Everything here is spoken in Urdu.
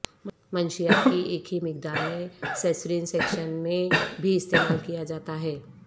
منشیات کی ایک ہی مقدار میں سیسرین سیکشن میں بھی استعمال کیا جاتا ہے